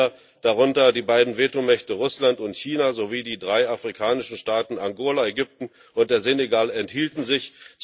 Acht Länder, darunter die beiden Vetomächte Russland und China sowie die drei afrikanischen Staaten Angola, Ägypten und Senegal, enthielten sich.